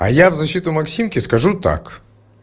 а я в защиту максимки скажу так